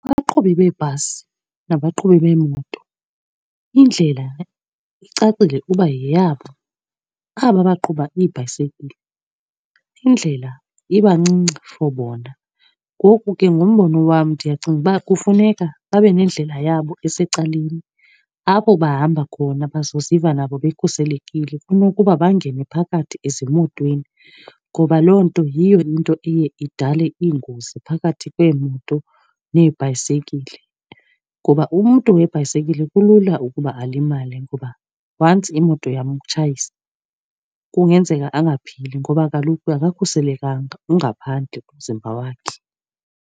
Abaqhubi beebhasi nabaqhubi beemoto, indlela icacile uba yeyabo. Aba baqhuba iibhayisekile iindlela iba ncinci for bona. Ngoku ke ngombono wam ndiyacinga uba kufuneka babe nendlela yabo esecaleni apho bahamba khona bazoziva nabo bekhuselekile, kunokuba bangene phakathi ezimotweni. Ngoba loo nto yiyo into eye idale iingozi phakathi kweemoto neebhayisekile, ngoba umntu webhayisikile kulula ukuba alimale. Ngoba once imoto yamtshayisa kungenzeka angaphili ngoba kaloku akakhuselekanga, ungaphandle umzimba wakhe.